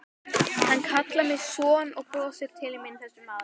Hann kallar mig son og brosir til mín þessi maður.